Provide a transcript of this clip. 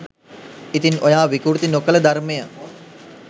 ඉතින් ඔයා විකෘති නොකල ධර්මය